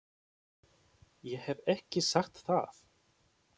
Ég hef ekki sagt það!